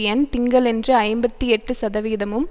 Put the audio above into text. எண் திங்களன்று ஐம்பத்தி எட்டு சதவீதமும்